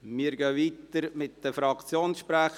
Wir fahren weiter mit den Fraktionssprechern.